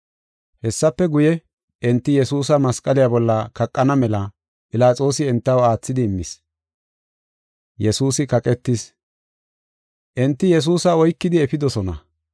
Hessafe guye, enti Yesuusa masqaliya bolla kaqana mela Philaxoosi entaw aathidi immis. Yesuusi Kaqetis ( Maato 27:32-44 ; Mar 15:21-32 ; Luqa 23:26-43 ) Enti Yesuusa oykidi efidosona.